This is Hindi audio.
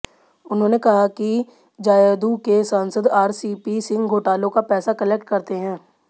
उन्होंने कहा है कि जदयू के सांसद आरसीपी सिंह घोटालों का पैसा कलेक्ट करते हैं